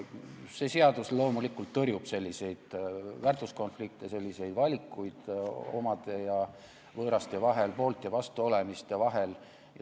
See seadus loomulikult tõrjub selliseid väärtuskonflikte, selliseid valikuid omade ja võõraste vahel, poolt ja vastu olemiste vahel.